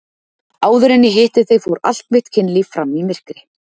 Áður en ég hitti þig fór allt mitt kynlíf fram í myrkri.